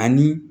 Ani